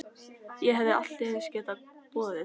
Ég hefði allt eins getað boðið